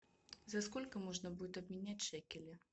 за сколько можно будет обменять шекели